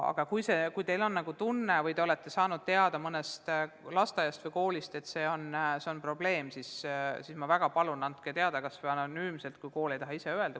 Aga kui te olete saanud teada mõnest lasteaiast või koolist, et see on probleem, siis ma väga palun, andke teada, kas või anonüümselt, kui kool ei taha ise öelda.